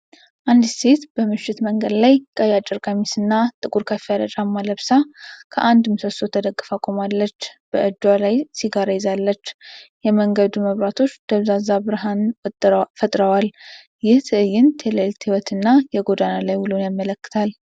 አንዲት ሴት በምሽት መንገድ ላይ፣ ቀይ አጭር ቀሚስና ጥቁር ከፍ ያለ ጫማ ለብሳ፣ ከአንድ ምሰሶ ተደግፋ ቆማለች። በእጇ ላይ ሲጋራ ይዛለች፤ የመንገዱ መብራቶች ደብዛዛ ብርሃን ፈጥረዋል። ይህ ትዕይንት የሌሊት ሕይወትንና የጎዳና ላይ ውሎን ያመልክታል።